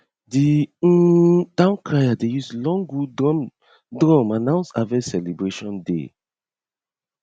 the um town crier dey use long wood drum drum announce harvest celebration day